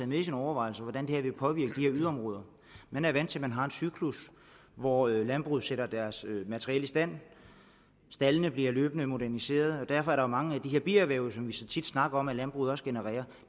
med i sine overvejelser hvordan det her vil påvirke de her yderområder man er vant til at man har en cyklus hvor landbruget sætter deres materiel i stand staldene bliver løbende moderniseret og derfor er der jo mange af de her bierhverv som vi så tit snakker om at landbruget også genererer